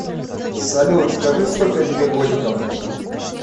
салют скажи сколько тебе годиков